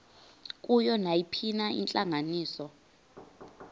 kuyo nayiphina intlanganiso